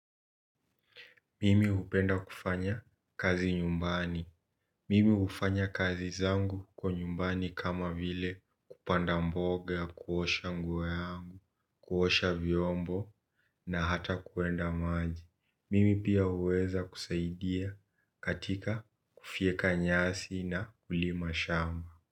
Mimi upenda kufanya kazi nyumbani. Mimi hufanya kazi zangu huko nyumbani kama vile kupanda mboga, kuosha nguo yangu, kuosha vyombo na hata kuenda maji. Mimi pia uweza kusaidia katika kufieka nyasi na kulima shamba.